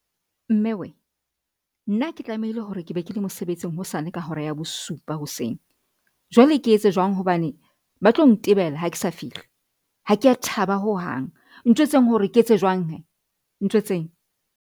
Mme wee! nna ke tlamehile hore ke be ke le mosebetsing hosane ka hora ya bosupa hoseng, jwale ke etse jwang hobane ba tlo ntebela ha ke sa fihle ha ke a thaba ho hang ntjhwetseng hore ke etse jwang hee ntjhwetseng?